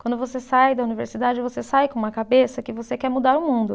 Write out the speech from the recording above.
Quando você sai da universidade, você sai com uma cabeça que você quer mudar o mundo.